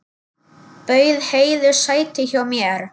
Bauð Heiðu sæti hjá mér.